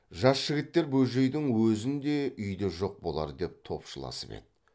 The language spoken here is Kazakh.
жас жігіттер бөжейдің өзін де үйде жоқ болар деп топшыласып еді